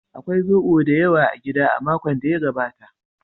Akwai zoɓo da yawa a gida a makon da ya gabata.